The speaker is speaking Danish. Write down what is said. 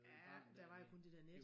Ja der var jo kun det dér net